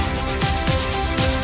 Azərbaycan ordusu!